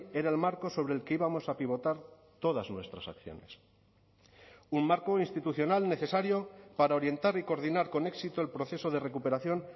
era el marco sobre el que íbamos a pivotar todas nuestras acciones un marco institucional necesario para orientar y coordinar con éxito el proceso de recuperación